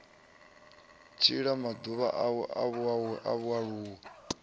tshila maḓuvha awe a vhualuwa